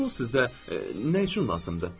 Pul sizə nə üçün lazımdır?